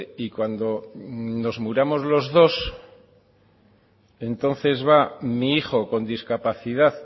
y cuando nos muramos los dos entonces va mi hijo con discapacidad